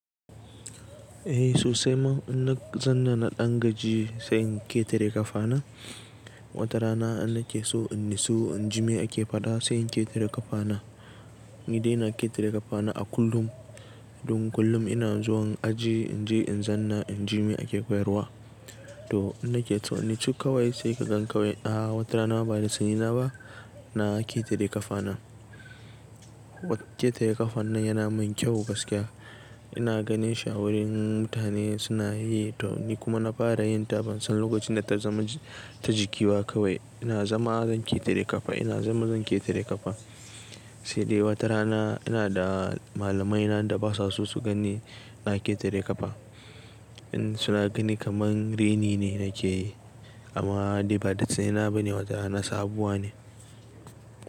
Eh sosai ma, ina zanna na ɗan gajiya sai in ketare ƙafana. Wata rana inna ke so inni su in jime ake faɗa se in ketare ƙafana. Ni dai ina ketare ƙafana a kullum. Dun kullum ina zuwan aji in je in zanna in jime ake koyarwa. To ina ke tauni, cikkawai sai ka gan kawai a wata rana bani da tsina na ba, na ketare ƙafana. Danke tare ƙafan nan yana min kyau gaskiya. Ina ganin shi wurin mutane suna yi tauni kuma na fara yin ta bansan lokacin da ta zama ta jiki ba kawai. Ina zama zan ketare ƙafa, ina zama zan ketare ƙafa. Sai dai wata rana ina da malamaina da basu so su gani na ketare ƙafa. In suna gani kaman reni ne nake yi, amma dai ba da sani na bane wata rana sabuwa ne.